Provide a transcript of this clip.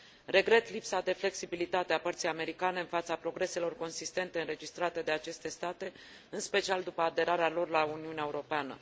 Regret lipsa de flexibilitate a părții americane în fața progreselor consistente înregistrate de aceste state, în special după aderarea lor la Uniunea Europeană.